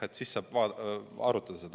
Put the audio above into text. Siis saab arutada.